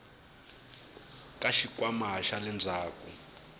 ka xikhwama xa le ndzhaku